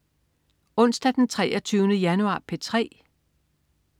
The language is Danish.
Onsdag den 23. januar - P3: